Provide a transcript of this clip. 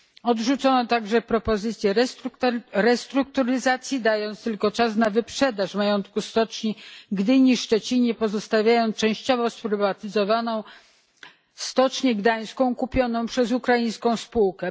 Odrzucono także propozycję restrukturyzacji, dając tylko czas na wyprzedaż majątku stoczni Gdyni i Szczecinowi, pozostawiając częściowo sprywatyzowaną Stocznię Gdańską kupioną przez ukraińską spółkę.